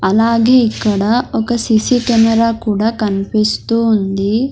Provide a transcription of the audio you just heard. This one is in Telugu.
అలాగే ఇక్కడ ఒక సిసి కెమెరా కూడా కనిపిస్తూ ఉంది.